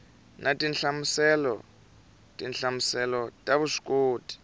na tinhlamuselo tinhlamuselo ta vuswikoti